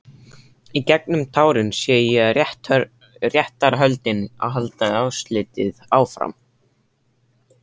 Í gegnum tárin sé ég að réttarhöldin halda óslitið áfram.